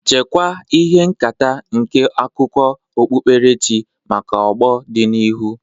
Chekwaa ihe nketa nke akụkọ okpukperechi maka ọgbọ dị n'ihu.